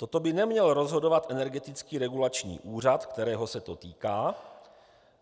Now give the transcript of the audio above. Toto by neměl rozhodovat Energetický regulační úřad, kterého se to týká,